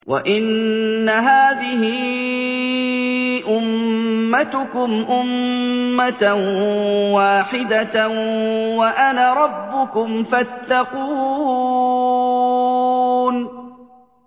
وَإِنَّ هَٰذِهِ أُمَّتُكُمْ أُمَّةً وَاحِدَةً وَأَنَا رَبُّكُمْ فَاتَّقُونِ